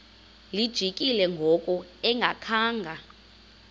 lijikile ngoku engakhanga